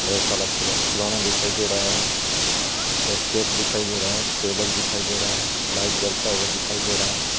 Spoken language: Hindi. ढेर सारा फुला-फुलाना दिखाई दे रहा हे एक केक दिखाई दे रहा हे टेबल दिखाई दे रहा हे लाइट जलता हुआ दिखाई दे रहा हे.